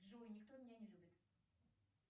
джой никто меня не любит